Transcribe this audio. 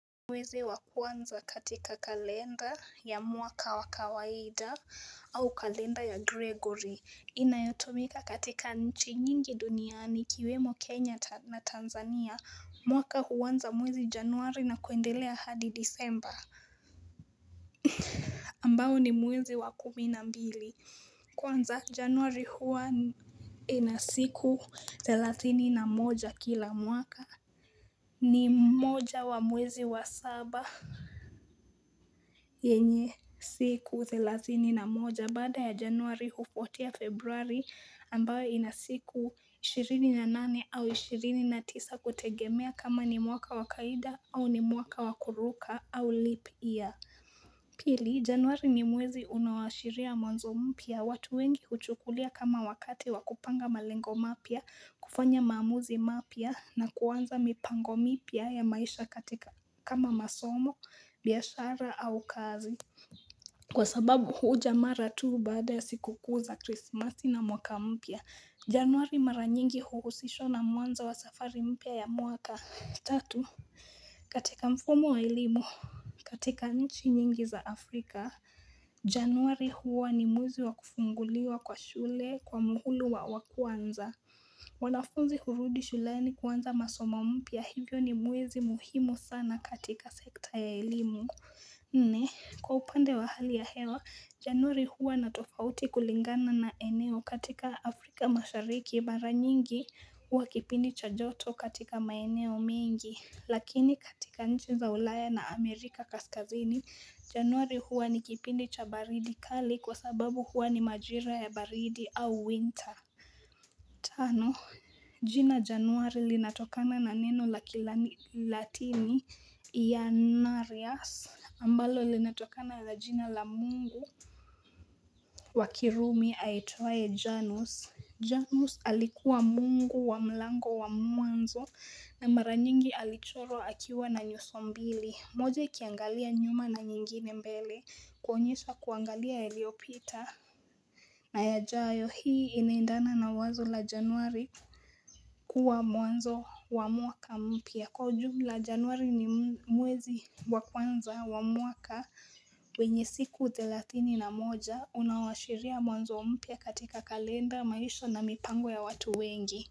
Mwezi wa kwanza katika kalenda ya mwaka wa kawaida au kalenda ya Gregory inayotumika katika nchi nyingi duniani ikiwemo Kenya na Tanzania mwaka huanza mwezi januari na kuendelea hadi disemba ambao ni mwezi wa kumi na mbili kwanza januari huwa ina siku thelatini na moja kila mwaka ni moja wa mwezi wa saba yenye siku thelathini na moja baada ya januari hufuatia februari ambayo ina siku ishirini na nane au ishirini na tisa kutegemea kama ni mwaka wa kaida au ni mwaka wa kuruka au leap year. Pili januari ni mwezi unao ashiria mwanzo mpya, watu wengi huchukulia kama wakati wa kupanga malengo mapya, kufanya maamuzi mapya, na kuanza mipango mipya ya maisha katika kama masomo, biashara au kazi. Kwa sababu huja mara tu baada ya siku kuu za krismasi na mwaka mpya, januari mara nyingi huusishwa na mwanzo wa safari mpya ya mwaka tatu. Katika mfumo wa elimu katika nchi nyingi za Afrika Januari huwa ni mwezi wa kufunguliwa kwa shule kwa muhula wa kwanza. Wanafunzi hurudi shuleni kuanza masomo mpya hivyo ni mwezi muhimu sana katika sekta ya elimu Nne, kwa upande wa hali ya hewa, Januari huwa na tofauti kulingana na eneo katika Afrika mashariki mara nyingi huwa kipindi cha joto katika maeneo mengi Lakini katika nchi za ulaya na Amerika kaskazini, januari huwa ni kipindi cha baridi kali kwa sababu huwa ni majira ya baridi au winter. Tano, jina januari linatokana na neno la kilatini, Iannarius. Ambalo linatokana na jina la mungu wa kirumi aitwaye Janus. Janus alikuwa mungu wa mlango wa mwanzo na mara nyingi alichorwa akiwa na nyuso mbili moja ikiangalia nyuma na nyingine mbele kuonyesha kuangalia yaliyopita na yajayo hii inaendana na wazo la januari kuwa mwanzo wa mwaka mpya kwa ujumla januari ni mwezi wa kwanza wa mwaka wenye siku thelathini na moja unaoashiria mwanzo mpya katika kalenda maisha na mipango ya watu wengi.